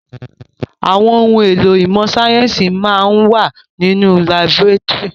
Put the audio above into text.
Àwọn ohun èlò ìmọ̀ síáyẹ́nsì máa ń wà nínú laborétórì.